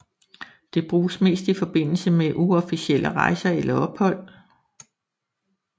Det bruges mest i forbindelse med uofficielle rejser eller ophold